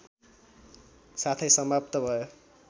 साथै समाप्त भयो